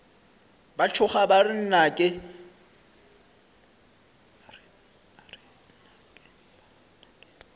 ba tšhoga ba re nnake